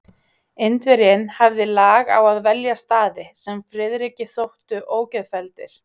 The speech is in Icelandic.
Indverjinn hafði lag á að velja staði, sem Friðriki þóttu ógeðfelldir.